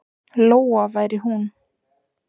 Lóa væri hún.